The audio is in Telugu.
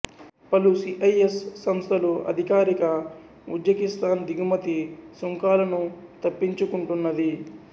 పలు సి ఐ ఎస్ సంస్థలు అధికారిక ఉజ్బెకిస్థాన్ దిగుమతి సుంకాలను తప్పించుకుంటున్నది